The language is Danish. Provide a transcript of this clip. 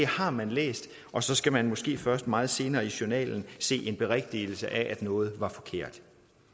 har man læst og så skal man måske først meget senere i journalen se en berigtigelse af noget er forkert